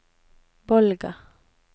Bolga